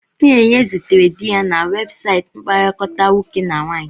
Chinenye zutere di ya na webụsaịtị mkpakọrịta nwoke na nwaanyị.